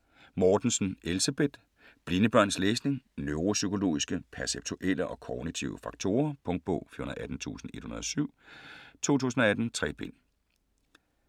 Mortensen, Elsebeth: Blinde børns læsning: neuropsykologiske, perceptuelle og kognitive faktorer Punktbog 418107 2018. 3 bind.